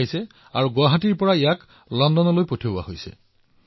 এই কঁঠালবোৰ এতিয়া গুৱাহাটীৰ পৰা লণ্ডনলৈ প্ৰেৰণ কৰা হৈছে